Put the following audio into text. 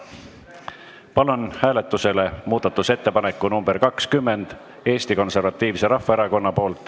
Panen hääletusele Eesti Konservatiivse Rahvaerakonna muudatusettepaneku nr 20.